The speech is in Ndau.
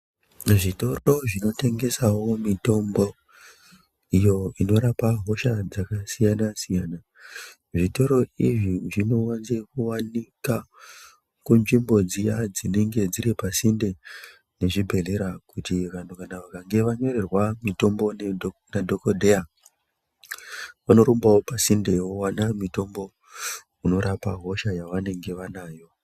Zvitoro zvinotengesawo mutombo iyo inorapawo hosha dzakasiyana siyana zvitoro izvi zvinowanze kuwanika kunzvimbo dziyani dzinenge dziri pasinde nezvibhedhleya kuti vantu kana vakange vanyorerwa mutombo ndidho nadhokodheya vanorumbawo pasinde vowanawo mutombo unorapa hosha yavanenge vanayo .